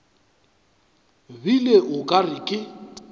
bile o ka re ke